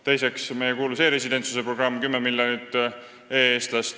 Teine lahendus on meie kuulus e-residentsuse programm – 10 miljonit e-eestlast.